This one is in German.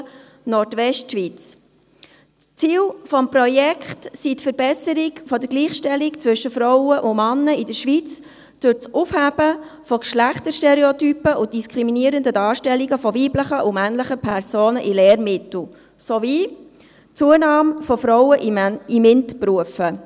Ziel des Projekts ist die Verbesserung der Gleichstellung zwischen Frauen und Männern in der Schweiz durch Aufhebung der Geschlechterstereotypen und diskriminierender Darstellungen von weiblichen und männlichen Personen in Lehrmitteln sowie die Zunahme von Frauen in MINT-Berufen.